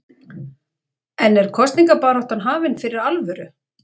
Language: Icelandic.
En er kosningabaráttan hafin fyrir alvöru?